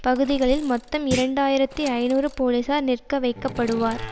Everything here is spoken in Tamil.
பகுதிகளில் மொத்தம் இரண்டு ஆயிரத்தி ஐநூறு போலீசார் நிற்க வைக்கப்படுவார்